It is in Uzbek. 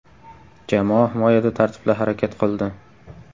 Jamoa himoyada tartibli harakat qildi.